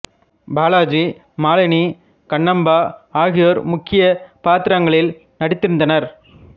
பாலாஜி மாலினி ப கண்ணாம்பா ஆகியோர் முக்கிய பாத்திரங்களில் நடித்திருந்தனர்